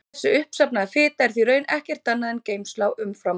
Þessi uppsafnaða fita er því í raun ekkert annað en geymsla á umframorku.